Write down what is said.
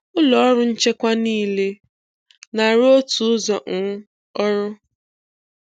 Ụlọ ọrụ nchekwa niile, na-arụ otu ụzọ um ọrụ.